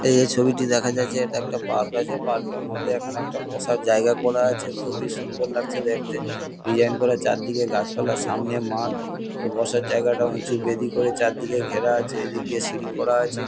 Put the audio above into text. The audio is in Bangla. এই যে ছবিটি দেখা যাচ্ছে এটা একটা পার্ক আছে। পার্ক -এর মধ্যে এখানে একটা বসার জায়গা করা আছে। খুবই সুন্দর লাগছে দেখতে। ডিজাইন করা চারদিকে গাছপালা সামনে মাঠ ও বসার জায়গাটা উঁচু বেদি করে চারদিকে ঘেরা আছে। এদিক দিয়ে সিঁড়ি করা আছে।